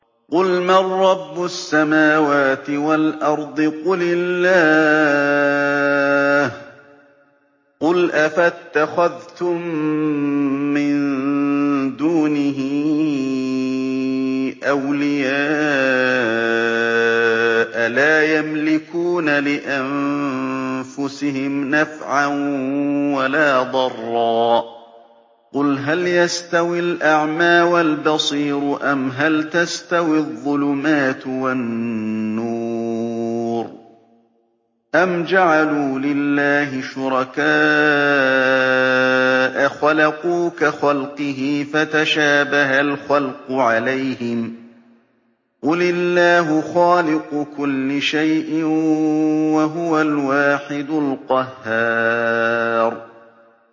قُلْ مَن رَّبُّ السَّمَاوَاتِ وَالْأَرْضِ قُلِ اللَّهُ ۚ قُلْ أَفَاتَّخَذْتُم مِّن دُونِهِ أَوْلِيَاءَ لَا يَمْلِكُونَ لِأَنفُسِهِمْ نَفْعًا وَلَا ضَرًّا ۚ قُلْ هَلْ يَسْتَوِي الْأَعْمَىٰ وَالْبَصِيرُ أَمْ هَلْ تَسْتَوِي الظُّلُمَاتُ وَالنُّورُ ۗ أَمْ جَعَلُوا لِلَّهِ شُرَكَاءَ خَلَقُوا كَخَلْقِهِ فَتَشَابَهَ الْخَلْقُ عَلَيْهِمْ ۚ قُلِ اللَّهُ خَالِقُ كُلِّ شَيْءٍ وَهُوَ الْوَاحِدُ الْقَهَّارُ